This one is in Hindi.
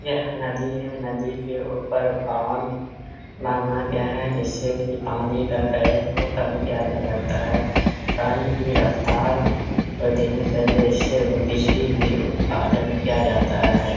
यह नदी हैं। नदी के ऊपर बाँध बाँधा गया है। जिससे की पानी का करंट को कम किया जा सकता है। पानी की रफ्तार को धीमी का दृश्य बिजली भी उत्पादन किया जाता है।